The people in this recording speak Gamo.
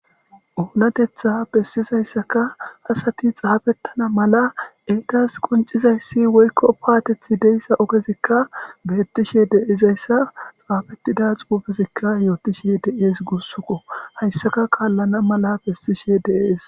Oonatetha bessizayssaka asati xaafettana mala eegas quncizayssi woykko paatethi deyssa okezikka beettishe deizayssa xaafettida xuufezikka yootishe de7ees gussuko hayssaka kaallana mala bessishe deees